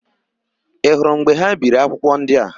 Ị hụrụ mgbe ha biri akwụkwọ ndị a?